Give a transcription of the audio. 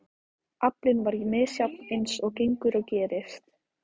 Aflinn var misjafn eins og gengur og gerist.